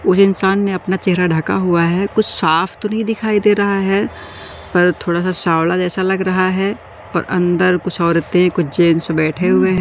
उस इंसान ने अपना चेहरा ढका हुआ है कुछ साफ तो नहीं दिखाई दे रहा है पर थोड़ा सा सवाल जैसा लग रहा है पर अंदर कुछ औरतें कुछ जेंट्स बैठे हुए--